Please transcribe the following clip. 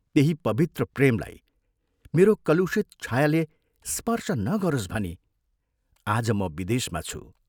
त्यही पवित्र प्रेमलाई मेरो कलुषित छायाले स्पर्श नगरोस् भनी आज म विदेशमा छु।